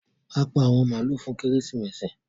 A pá àwọn maalu fún Kérésìmesì.